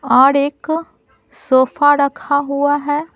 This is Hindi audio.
और एक सोफा रखा हुआ है।